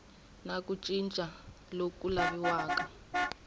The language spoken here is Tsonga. na ku cinca loku laviwaka